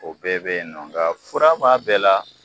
O bɛɛ be yen nɔ nka fura b'a bɛɛ la